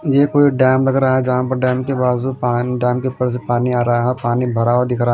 ये कोई डैम लग रहा है जहां पर डैम के बाजू डैम के ऊपर से पानी आ रहा है और पानी भरा हुआ दिख रहा।